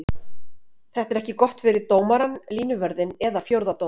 Þetta er ekki gott fyrir dómarann, línuvörðinn eða fjórða dómarann.